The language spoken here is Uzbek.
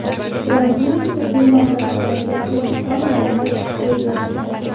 Trampning tibbiy maslahatlariga quloq solmanglar”, deb yozgan.